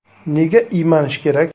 Nega iymanish kerak?